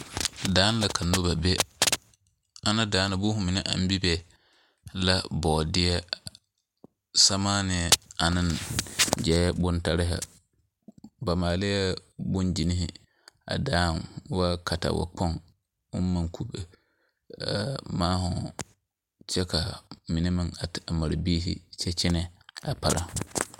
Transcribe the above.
Daanŋ la ka noba be, ana daa na boma mine aŋ Bebe la bɔɔdɛɛ samaane ane zeɛre bontare ba maalɛɛ bonzenne a daaŋ a woo katawie kpoŋ ʋŋ meŋ kube maaroŋ kyɛ ka mine meŋ a te mare biiri kyɛ kyɛne a para